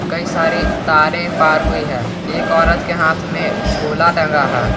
कई सारे तारे पार हुई है एक औरत के हाथ में झोला टंगा है।